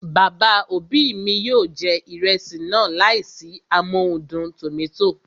Bàbá òbí mi yóò jẹ ìrẹsì náà láìsí amóhudùn tòmátò